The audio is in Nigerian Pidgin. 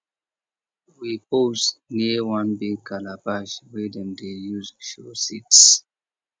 we pose near one big calabash wey dem dey use show seeds